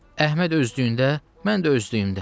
Əhməd özlüyündə, mən də özlüyümdə.